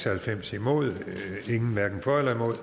og halvfems hverken for